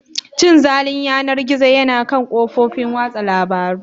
Cin zalin yanar gizo yana kan kafofin watsa labarun.